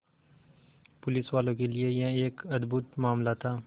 पुलिसवालों के लिए यह एक अद्भुत मामला था